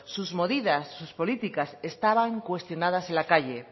sus medidas sus políticas estaban cuestionadas en la calle